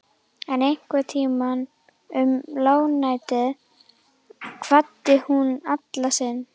En einhvern tíma um lágnættið kvaddi hún Alla sinn.